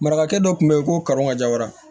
Marakakɛ dɔ tun bɛ yen ko karo ka ja wa